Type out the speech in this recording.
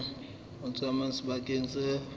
ho tsamaya sebakeng seo feberu